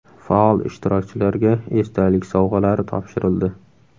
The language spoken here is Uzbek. Faol ishtirokchilarga esdalik sovg‘alari topshirildi.